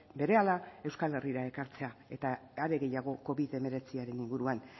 berehala euskal herrira ekartzea eta are gehiago covid hemeretziaren inguruan